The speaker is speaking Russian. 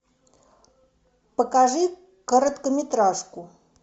покажи короткометражку